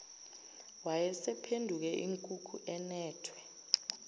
wayesephenduke inkukhu inethwe